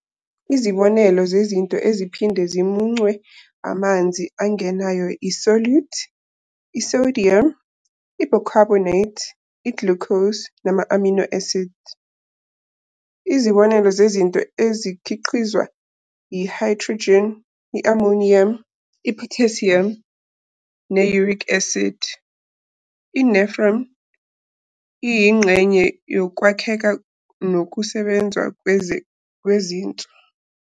Izibonelo zezinto eziphinde zimuncwe amanzi angenayo i-solute, i-sodium, i-bicarbonate, i-glucose, nama-amino acid. Izibonelo zezinto ezikhiqizwa yi-hydrogen, i-ammonium, i-potassium ne-uric acid. I-nephron iyingxenye yokwakheka nokusebenza kwezinso.